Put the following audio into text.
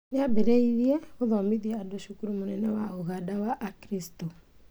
Nĩambĩrĩirie gũthomithia andũ cukuru mũnene wa Uganda Christian